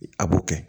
A b'o kɛ